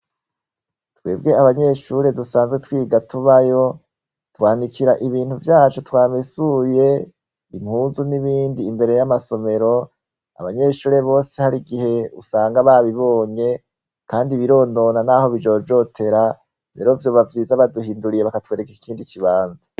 Twebwe abanyeshure dusanzwe twiga tubayo, twanikira ibintu vyacu twamesuye, impuzu n'ibindi imbere y'amasomero, abanyeshure bose hari igihe usanga babibonye, kandi bironona n'aho bijojotera, rero vyoba vyiza baduhinduriye bakatwereka ikindi ikibanza.